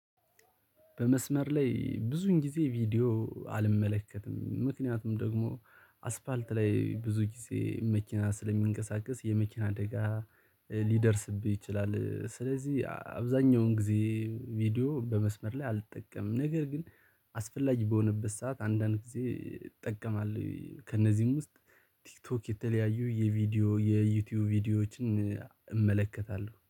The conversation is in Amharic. በመስመር ላይ ብዙን ጊዜ ቪዲዮ አልመለከትም ምክንያቱም ደግሞ አስፓልት ላይ ብዙ ጊዜ መኪና ስለሚንቀሳቀስ የመኪና አደጋ ሊደርስብህ ይችላል። ስለዚህ አብዛኛውን ጊዜ ቪዲዮ በመስመር ላይ አልጠቀምም። ነገር ግን አስፈላጊ በሆነበት ሰዓት አንዳንድ ጊዜ እጠቀማለሁ። ከእነዚህም ውስጥ ቲክቶክ የተለያዩ የቪዲዮ የዩቲዩብ ቪዲዮዎችን እመለከታለሁ